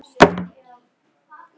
Ekkert virtist skelfa hann.